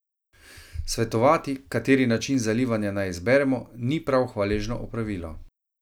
Svetovati, kateri način zalivanja naj izberemo, ni prav hvaležno opravilo.